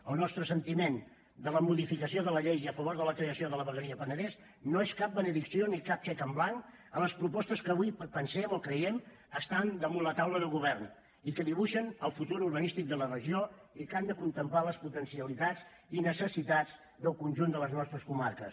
el nostre sentiment de la modificació de la llei i a favor de la creació de la vegueria penedès no és cap benedicció ni cap xec en blanc a les propostes que avui pensem o creiem estan damunt la taula del govern i que dibuixen el futur urbanístic de la regió i que han de contemplar les potencialitats i necessitats del conjunt de les nostres comarques